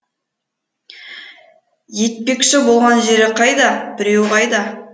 етпекші болған жері қайда біреу қайда